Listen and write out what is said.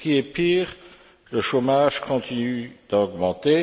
Pire, le chômage continue d'augmenter.